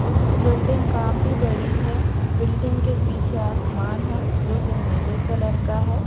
जिसकी बिल्डिंग काफी बड़ी हैं बिल्डिंग के पीछे आसमान हैं जो कि नीले कलर का हैं।